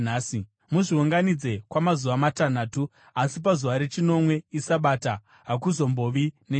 Muzviunganidze kwamazuva matanhatu, asi pazuva rechinomwe, iSabata, hakuzombovi nechinhu.”